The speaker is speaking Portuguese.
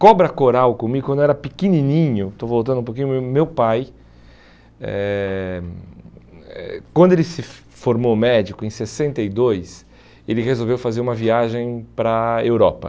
Cobra coral comigo, quando eu era pequenininho, estou voltando um pouquinho, mas meu pai, eh eh quando ele se formou médico, em sessenta e dois, ele resolveu fazer uma viagem para a Europa.